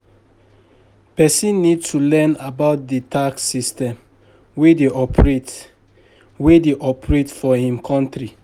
Person need to learn about di tax system wey dey operate wey dey operate for im country